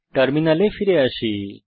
টার্মিনালে ফিরে আসি